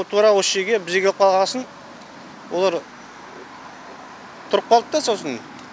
тура осы жерге бір жерге қойғасын олар тұрып қалды да сосын